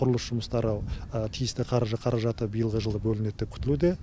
құрылыс жұмыстары тиісті қаражаты биылғы жылы бөлінеді деп күтілуде